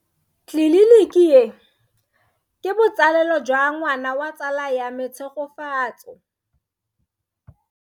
Tleliniki e, ke botsalelo jwa ngwana wa tsala ya me Tshegofatso.